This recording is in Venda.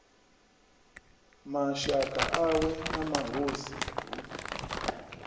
mashaka awe na mahosi hu